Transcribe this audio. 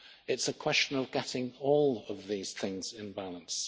It's a question of getting all of these things in balance.